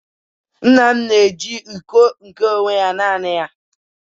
nna m na-eji iko nke onwe ya naanị ya